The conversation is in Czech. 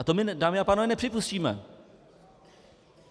A to my, dámy a pánové, nepřipustíme.